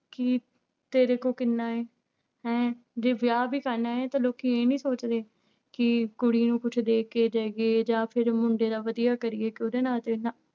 ਕਿ ਤੇਰੇ ਕੋਲ ਕਿੰਨਾ ਹੈ ਹੈਂ ਜੇ ਵਿਆਹ ਵੀ ਕਰਨਾ ਹੈ ਤਾਂ ਲੋਕੀ ਇਹ ਨੀ ਸੋਚਦੇ ਕਿ ਕੁੜੀ ਨੂੰ ਕੁਛ ਦੇ ਕੇ ਜਾਈਏ ਜਾਂ ਫਿਰ ਮੁੰਡੇ ਦਾ ਵਧੀਆ ਕਰੀਏ ਕਿ ਉਹਦੇ ਨਾਂ ਤੇ ਨਾ